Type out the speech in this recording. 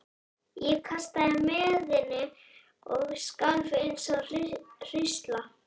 Ég kastaði mæðinni og skalf eins og hrísla.